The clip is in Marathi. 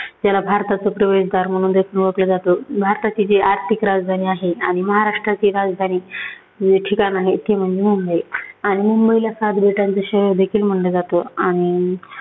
त्याला भारताचं प्रवेशदार म्हणून देखील ओळखलं जातं. भारताची जी आर्थिक राजधानी आहे आणि महाराष्ट्राची राजधानी जे ठिकाण आहेत ती म्हणजे मुंबई. आणि मुंबईला सात बेटांचं शहर देखील म्हटलं जातं. आणि